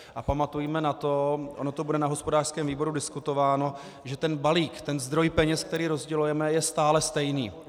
A pamatujme na to, ono to bude na hospodářském výboru diskutováno, že ten balík, ten zdroj peněz, který rozdělujeme, je stále stejný.